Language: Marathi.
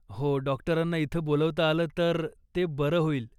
हो, डाॅक्टरांना इथं बोलवता आलं तर ते बरं होईल.